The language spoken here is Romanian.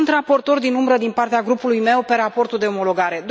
Eu sunt raportor din umbră din partea grupului meu pe raportul de omologare.